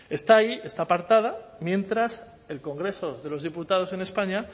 está ahí está apartada mientras el congreso de los diputados en españa